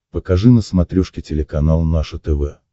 покажи на смотрешке телеканал наше тв